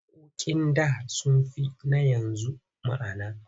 Waƙoƙin da sun fi na yanzu ma'ana.